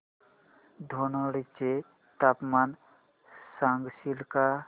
धनोडी चे तापमान सांगशील का